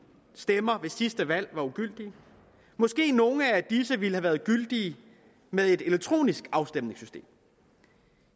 stemmer ved sidste valg var ugyldige måske nogle af disse ville have været gyldige med et elektronisk afstemningssystem